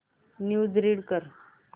news read कर